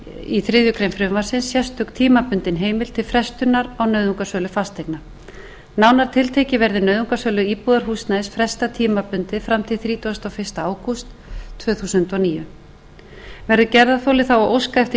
í þriðju greinar frumvarpsins sérstök tímabundin heimild til frestunar á nauðungarsölu fasteigna nánar tiltekið verði nauðungarsölu íbúðarhúsnæðis frestað tímabundið fram til þrítugasta og fyrsta ágúst tvö þúsund og níu verði gerðarþoli þá að óska eftir